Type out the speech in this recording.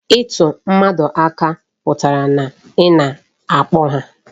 Ịtụ mmadụ aka pụtara na ị na-akpọ ha